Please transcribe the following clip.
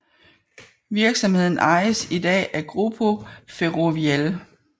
Virksomheden ejes i dag af Grupo Ferrovial